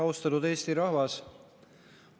Austatud Eesti rahvas!